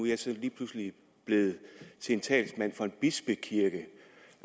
jeg så lige pludselig blevet til talsmand for en bispekirke